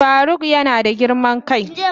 Faruk yana da girman kai.